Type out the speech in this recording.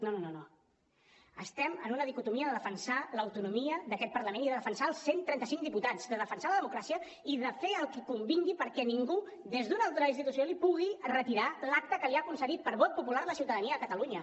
no no no estem en una dicotomia de defensar l’autonomia d’aquest parlament i de defensar els cent i trenta cinc diputats de defensar la democràcia i de fer el que convingui perquè ningú des d’una altra institució li pugui retirar l’acta que li ha concedit per vot popular la ciutadania de catalunya